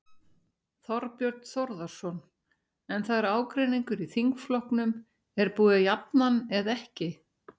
Þorbjörn Þórðarson: En það er ágreiningur í þingflokknum, er búið að jafna hann eða ekki?